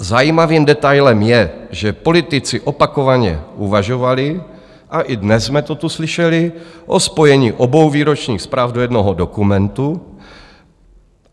Zajímavým detailem je, že politici opakovaně uvažovali, a i dnes jsme to tu slyšeli, o spojení obou výročních zpráv do jednoho dokumentu.